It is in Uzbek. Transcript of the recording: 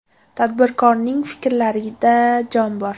Tadbirkorning fikrlarida jon bor.